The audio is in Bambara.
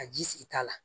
Ka ji sigita la